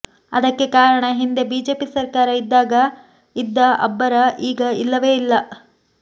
ಅದಕ್ಕೆ ಕಾರಣ ಹಿಂದೆ ಬಿಜೆಪಿ ಸರ್ಕಾರ ಇದ್ದಾಗ ಇದ್ದ ಅಬ್ಬರ ಈಗ ಇಲ್ಲವೇ ಇಲ್ಲ